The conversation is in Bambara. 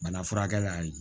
Bana furakɛ ye